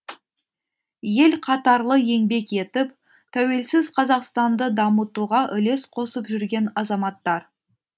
ел қатарлы еңбек етіп тәуелсіз қазақстанды дамытуға үлес қосып жүрген азаматтар